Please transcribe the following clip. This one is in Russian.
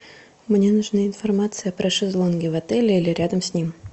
мне нужна информация про шезлонги в отеле или рядом с ним